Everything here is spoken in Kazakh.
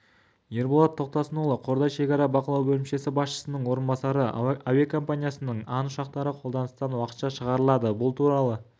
ерболат тоқтасынұлы қордай шекара бақылау бөлімшесі басшысының орынбасары әуекомпаниясының ан ұшақтары қолданыстан уақытша шығарылады бұл туралы